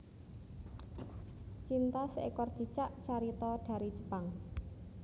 Cinta seekor cicak carita dari Jepang